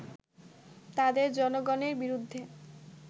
তাদের জনগণের বিরুদ্ধে